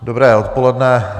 Dobré odpoledne.